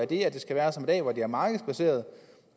det skal være som i dag hvor det er markedsbaseret